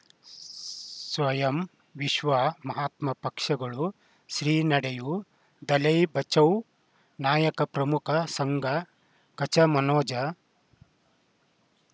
ಸ್ಸ್ಸ್ ಸ್ವಯಂ ವಿಶ್ವ ಮಹಾತ್ಮ ಪಕ್ಷಗಳು ಶ್ರೀ ನಡೆಯೂ ದಲೈ ಬಚೌ ನಾಯಕ ಪ್ರಮುಖ ಸಂಘ ಕಚ ಮನೋಜಾ